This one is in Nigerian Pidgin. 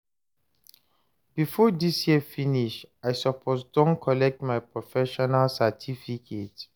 before dis year finish, I suppose don collect my professional certificate